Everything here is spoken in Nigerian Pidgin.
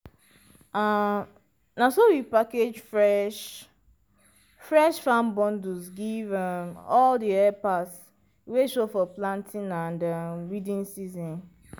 um na so we package fresh-fresh farm bundles give um all di helpers wey show for planting and um weeding season.